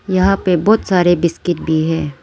यहां पे बहोत सारे बिस्किट भी है।